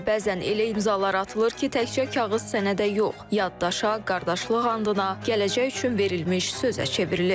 Amma bəzən elə imzalar atılır ki, təkcə kağız sənədə yox, yaddaşa, qardaşlıq andına, gələcək üçün verilmiş sözə çevrilir.